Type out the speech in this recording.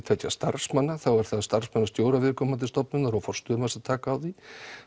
tveggja starfsmanna þá er það starfsmannastjóra viðkomandi stofnunnar og forstöðumanns að taka á því